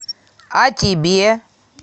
а тебе